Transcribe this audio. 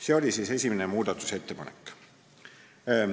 See oli esimene muudatusettepanek.